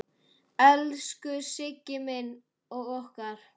Elsku Siggi minn og okkar.